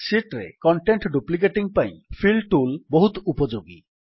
sheet ରେ content duplicating ପାଇଁ fill tool ବହୁତ ଉପଯୋଗୀ